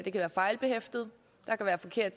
fejlbehæftet der kan være forkert